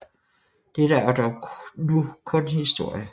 Dette er dog nu kun historie